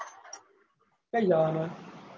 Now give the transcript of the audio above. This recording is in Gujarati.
કઈ જવાનો હે?